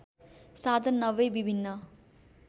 साधन नभई विभिन्न